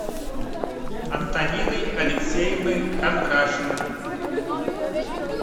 антониной алексеевной кондрашиной